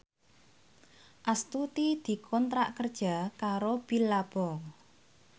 Astuti dikontrak kerja karo Billabong